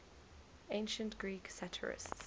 ancient greek satirists